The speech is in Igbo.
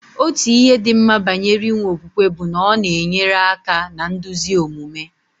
Otu ihe dị mma banyere inwe okwukwe bụ na ọ na-enyere aka na nduzi omume.